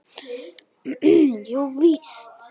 Jú víst.